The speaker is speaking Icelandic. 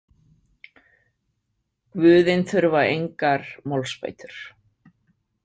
Guðin þurfa engar málsbætur.